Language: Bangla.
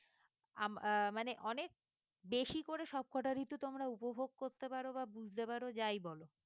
আম আহ মানে অনেক বেশি করে সবকটার ঋতু তোমরা উপভোগ করতে পারো বা বুঝতে পারো যাই বলো।